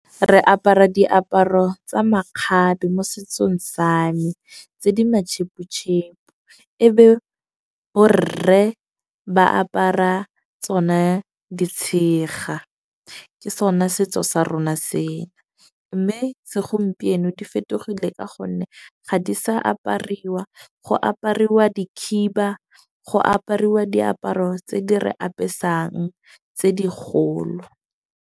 Re apara diaparo tsa makgabe mo setsong sa me, tse di matšheputšhepu . E be bo rre ba apara tsona ditshega. Ke sona setso sa rona se. Mme segompieno di fetogile ka gonne ga di sa apariwa go apariwa dikhiba, go apariwa diaparo tse di re apesang. Tse di kgolo.